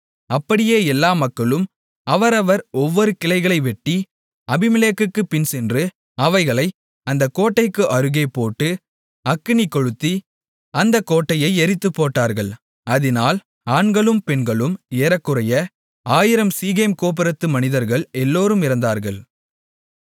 அப்படியே எல்லா மக்களும் அவரவர் ஒவ்வொரு கிளைகளை வெட்டி அபிமெலேக்குக்குப் பின்சென்று அவைகளை அந்தக் கோட்டைக்கு அருகே போட்டு அக்கினி கொளுத்தி அந்த கோட்டையை எரித்துப்போட்டார்கள் அதினால் ஆண்களும் பெண்களும் ஏறக்குறைய 1000 சீகேம் கோபுரத்து மனிதர்கள் எல்லோரும் இறந்தார்கள்